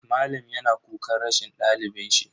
Malam yana kukan rashin dalibin shi.